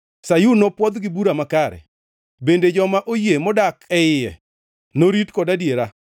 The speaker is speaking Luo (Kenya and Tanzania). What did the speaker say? Sayun nopwodh gi bura makare bende joma oyie modak e iye norit kod adiera.